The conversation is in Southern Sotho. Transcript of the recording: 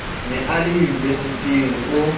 ne a le unibesiting o